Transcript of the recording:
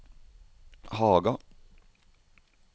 Haga